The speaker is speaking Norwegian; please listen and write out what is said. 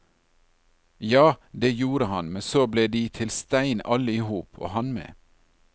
Ja, det gjorde han, men så ble de til stein alle i hop, og han med.